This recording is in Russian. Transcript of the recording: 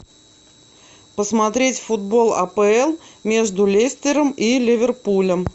посмотреть футбол апл между лестером и ливерпулем